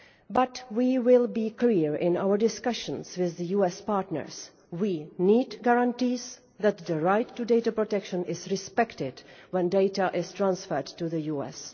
But we will be clear in our discussions with the US partners we need guarantees that the right to data protection is respected when data is transferred to the US.